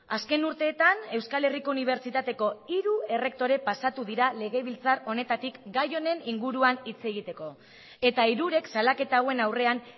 azken urteetan euskal herriko unibertsitateko hiru errektore pasatu dira legebiltzar honetatik gai honen inguruan hitz egiteko eta hirurek salaketa hauen aurrean